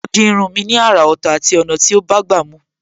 Ó di irun mi ni àrà Ọ̀tọ̀ àti ọ̀nà tó bágbà mu